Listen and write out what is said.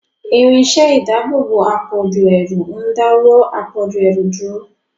Irinṣẹ́ ìdáàbòbò àpọ̀jù ẹrù ń dáwọ́ àpọ̀jù ẹrù dúró.